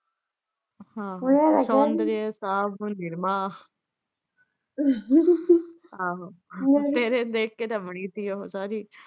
ਹਾਂ ਸੋੰਦਰੀਆ ਸਾਬੁਨ ਨਿਰਮਾ ਆਹੋ ਤੇਰੇ ਨੂੰ ਦੇਖ ਕੇ ਤਾਂ ਬਣੀ ਸੀ ਉਹ ਸਾਰੀ।